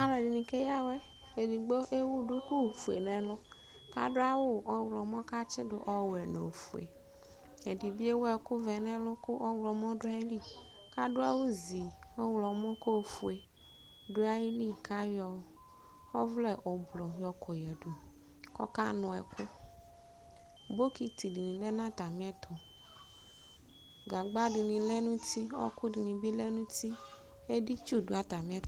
Alʋɛdini keya awʋɛ Edigbo ewʋ duku nʋ ɛlʋ adʋ awʋ ɔwlɔmɔ kʋ atsidʋ ɔwʋɛ nʋ ofue Ɛdibi ewʋ ɛkʋvɛ nʋ ɛlʋ kʋ ɔwlɔmɔ dʋ ayili , kʋ adʋ awʋzi ɔwlɔmɔ kʋ ofue dʋ ayili kʋ ayɔ ɔvlɛ ʋblʋ yɔkɔ yadʋ Kʋ ɔkanʋ ɛkʋ bokiti ni lɛnʋ atami ɛtʋ gagba dini bi lɛnʋ uti ɔkʋ dini bilɛ nʋ uti editsʋ dʋ atami ɛtʋ